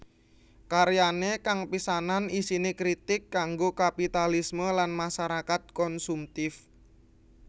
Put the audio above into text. Karyane kang pisanan isine kritik kanggo kapitalisme lan masyarakat konsumtif